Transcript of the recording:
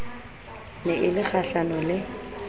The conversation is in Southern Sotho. ne e le kgahlano le